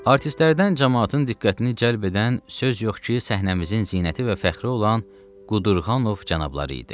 Artistlərdən camaatın diqqətini cəlb edən söz yox ki, səhnəmizin zinəti və fəxri olan Qudurğanov cənabları idi.